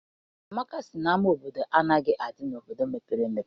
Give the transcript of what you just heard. Amaka sị na ama obodo anaghị adị n'obodo mepere emepe.